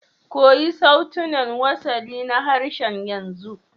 Koyi sautunan wasali na harshen yanzu